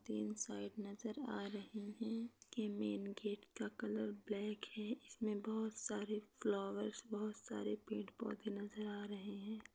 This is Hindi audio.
तीन साइड नजर आ रही है। के मेन गेट का कलर ब्लॅक है। इसमे बहुत सारे फ़्लोवर्स बहुत सारे पेड पौधे नजर आ रहे है।